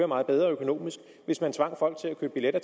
meget bedre økonomisk hvis man tvang folk til at købe billetter